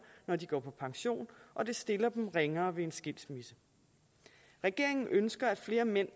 når de går på pension og det stiller dem ringere ved en skilsmisse regeringen ønsker at flere mænd